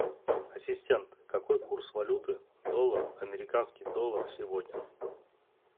ассистент какой курс валюты доллар американский доллар сегодня